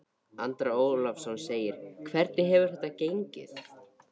Andri Ólafsson: Hvernig hefur þetta gengið?